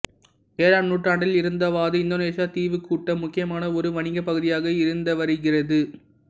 ஏழாம் நூற்றாண்டில் இருந்தாவது இந்தோனேசியத் தீவுக்கூட்டம் முக்கியமான ஒரு வணிகப் பகுதியாக இருந்துவருகிறது